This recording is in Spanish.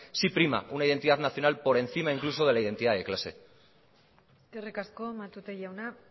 sí prima una identidad nacional por encima incluso de la identidad de clase eskerrik asko matute jauna